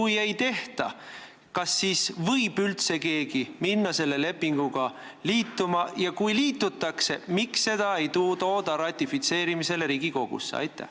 Kui ei tehta, kas siis võib üldse keegi minna selle lepinguga liituma, ja kui sellega liitutakse, miks seda lepingut ei tooda ratifitseerimiseks Riigikogusse?